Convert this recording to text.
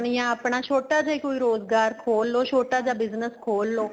ਜਾਂ ਆਪਣਾ ਛੋਟਾ ਜਾਂ ਕੋਈ ਰੋਜਗਾਰ ਖੋਲ ਲਹੋ ਛੋਟਾ ਜਾਂ Business ਖੋਲ ਲਓ